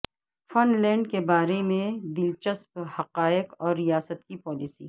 fun land کے بارے میں دلچسپ حقائق اور ریاست کی پالیسی